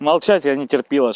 молчать я не терпила чтобы